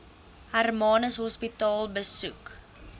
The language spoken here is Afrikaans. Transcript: hermanus hospitaal besoek